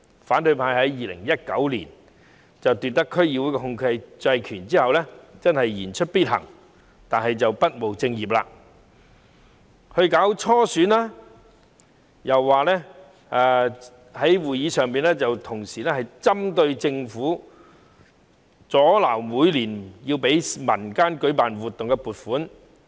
反對派在2019年奪得區議會的控制權後，真的言出必行，不務正業，既舉行初選，又在會議上針對政府，阻撓每年批給民間舉辦活動的撥款。